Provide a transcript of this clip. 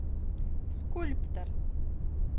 скульптор